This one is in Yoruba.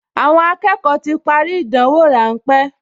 Àwọn akẹ́kọ̀ọ ti parí ìdánwò ráńpẹ́